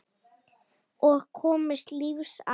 Og komist lífs af.